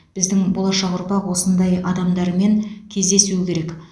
біздің болашақ ұрпақ осындай адамдармен кездесуі керек